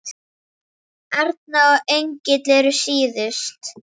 Erna og Engill eru síðust.